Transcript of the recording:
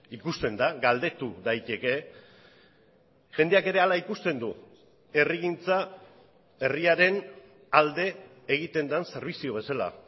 ikusten da galdetu daiteke jendeak ere hala ikusten du herrigintza herriaren alde egiten den zerbitzu bezala